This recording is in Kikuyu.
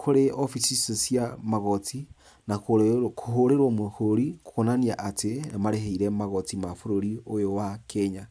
kũrĩ obici icio cia magoti, na kũhũrĩrwo mũhũri kũonania atĩ nĩmarĩhĩire magoti ma bũrũri ũyũ wa Kenya.